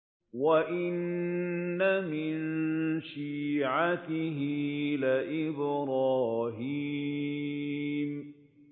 ۞ وَإِنَّ مِن شِيعَتِهِ لَإِبْرَاهِيمَ